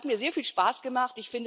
Es hat mir sehr viel Spaß gemacht.